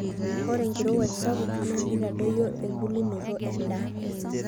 ore enkirowuaj sapuk naa keitadoyio embulunoto endaa